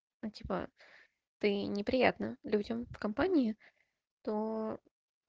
типа ты неприятна людям в компании то